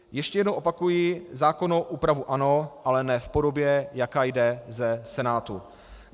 Ještě jednou opakuji - zákonnou úpravu ano, ale ne v podobě, jaká jde ze Senátu.